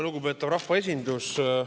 Lugupeetav rahvaesindus!